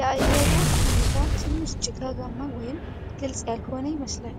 የአየሩ ሁኔታ ትንሽ ጭጋጋማ ወይም ግልጽ ያልሆነ ይመስላል።